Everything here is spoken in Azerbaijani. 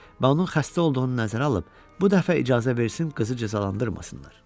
Və onun xəstə olduğunu nəzərə alıb, bu dəfə icazə versin qızı cəzalandırmasınlar.